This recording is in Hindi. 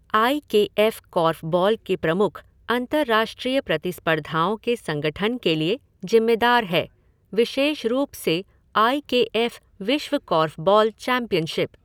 आई के एफ़ कॉर्फ़बॉल के प्रमुख अंतरराष्ट्रीय प्रतिस्पर्धाओं के संगठन के लिए जिम्मेदार है, विशेष रूप से आई के एफ़ विश्व कोर्फ़बॉल चैंपियनशिप।